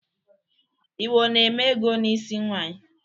Igbo na-eme ego n'isi nwanyị.